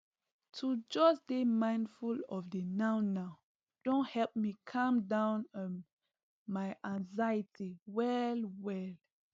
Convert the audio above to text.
to just dey mindful of the nownow don help me cam down um my anxiety well well